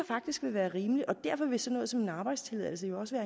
faktisk vil være rimeligt og derfor vil sådan noget som en arbejdstilladelse jo også